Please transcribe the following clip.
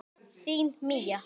Þín Mía.